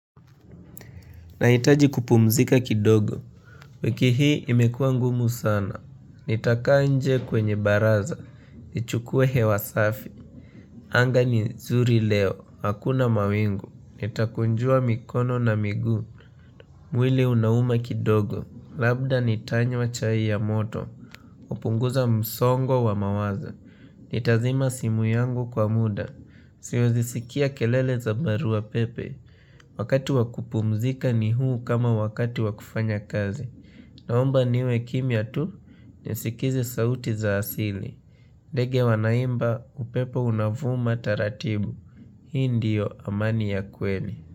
Nahitaji kupumzika kidogo, wiki hii imekua ngumu sana, nitakaa nje kwenye baraza, nichukue hewa safi, anga ni zuri leo, hakuna mawingu, nitakunjua mikono na miguu, mwili unauma kidogo, labda nitanywa chai ya moto, hupunguza msongo wa mawazo, nitazima simu yangu kwa muda, siwazisikia kelele za barua pepe, Wakati wa kupumzika ni huu kama wakati wakufanya kazi Naomba niwe kimia tu nisikize sauti za asili ndege wanaimba upepo unavuma taratibu Hii ndiyo amani ya kweli.